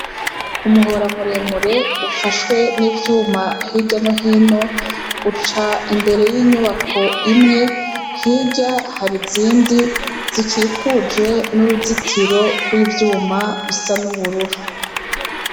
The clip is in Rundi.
Umuhora muremure ufashwe n’ivyuma hirya no hino, uca imbere y’inyubako imwe hirya izindi zikikuje n’uruzitiro rw’ivyuma bisa n’ubururu.